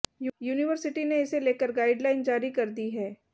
university ने इसे लेकर गाइडलाइन जारी कर दी है